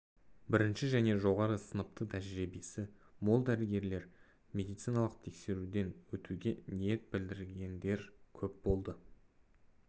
бірінші және жоғары сыныпты тәжірибесі мол дәрігерлер медициналық тексеруден өтуге ниет білдіргендер көп болды